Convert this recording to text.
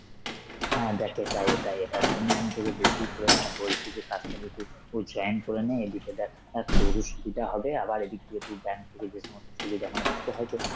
হ্যাঁ দেখ এটাই এটাই, এটার জন্যই আমি তোকে বেশি করে মানে বলছি যে কাজটা যেহেতু উ join করে নে, এইদিকে দেখ অ্যাঁ তোর ও সুবিধা হবে আবার এইদিক দিয়ে তুই bank থেকে যে সমস্ত সুবিধা মানে তোর তো হয়তো~ তো